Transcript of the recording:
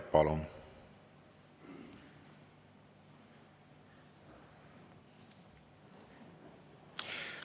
Palun!